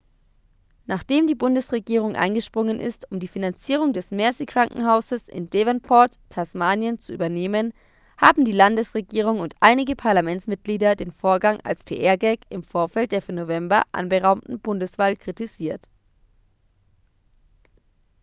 nachdem die bundesregierung eingesprungen ist um die finanzierung des mersey-krankenhauses in devonport tasmanien zu übernehmen haben die landesregierung und einige parlamentsmitglieder den vorgang als pr-gag im vorfeld der für november anberaumten bundeswahl kritisiert